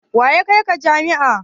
Wa ya kai ki jami'a?